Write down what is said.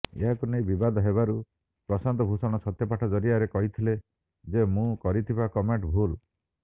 ଏହାକୁ ନେଇ ବିବାଦ ହେବାରୁ ପ୍ରଶାନ୍ତ ଭୂଷଣ ସତ୍ୟପାଠ ଜରିଆରେ କହିଥିଲେ ଯେ ମୁଁ କରିଥିବା କମେଣ୍ଟ ଭୁଲ